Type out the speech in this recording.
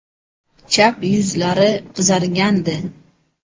Chap yuzlari qizargandi.